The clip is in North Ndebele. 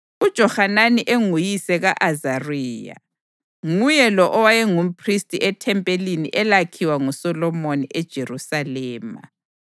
uJohanani enguyise ka-Azariya; nguye lo owayengumphristi ethempelini elakhiwa nguSolomoni eJerusalema.